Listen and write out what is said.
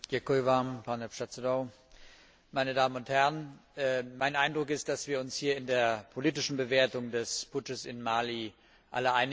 Herr Präsident! Meine Damen und Herren! Mein Eindruck ist, dass wir uns hier in der politischen Bewertung des Putsches in Mali alle einig sind.